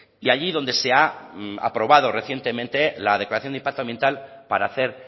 y allí donde se ha aprobado recientemente la declaración de impacto ambiental para hacer